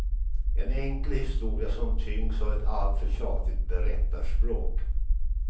En enkel historia som tyngs av ett alltför tjatigt berättarspråk.